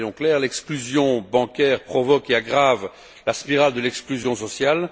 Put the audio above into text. Donc soyons clairs, l'exclusion bancaire provoque et aggrave la spirale de l'exclusion sociale.